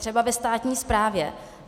Třeba ve státní správě.